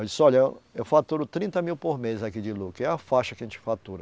Eu disse, olha, eu faturo trinta mil por mês aqui de lucro, que é a faixa que a gente fatura.